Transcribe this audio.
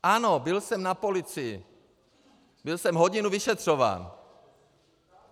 Ano, byl jsem na policii, byl jsem hodinu vyšetřován.